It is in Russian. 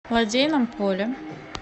лодейном поле